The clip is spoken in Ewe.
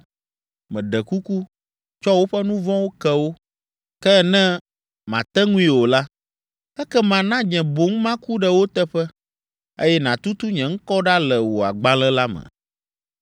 Meɖe kuku, tsɔ woƒe nu vɔ̃wo ke wo. Ke ne màte ŋui o la, ekema na nye boŋ maku ɖe wo teƒe, eye nàtutu nye ŋkɔ ɖa le wò agbalẽ la me.”